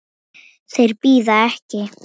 Þeir bíða ekki.